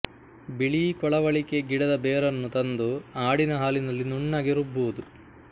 ಬಿಳೀ ಕೊಳವಳಿಕೆ ಗಿಡದ ಬೇರನ್ನು ತಂದು ಆಡಿನ ಹಾಲಿನಲ್ಲಿ ನುಣ್ಣಗೆ ರುಬ್ಬುವುದು